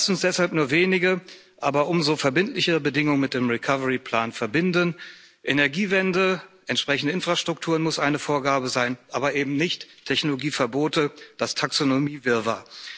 Lassen Sie uns deshalb nur wenige, aber umso verbindlichere Bedingungen mit dem Aufbauplan verbinden Energiewende, entsprechende Infrastruktur muss eine Vorgabe sein, aber eben nicht Technologieverbote, das Taxonomiewirrwarr.